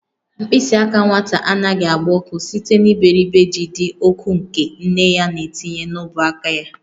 Mkpịsị aka nwata anaghị agba ọkụ site n'iberibe ji dị ọkụ nke nne ya na-etinye n'ọbụ aka ya.